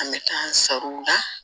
An bɛ taa an sar'u la